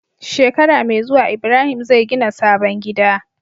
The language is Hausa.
Shekara me zuwa ibrahim zai gina sabon gida